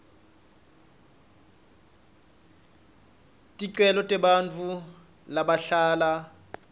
ticelo tebantfu labahlala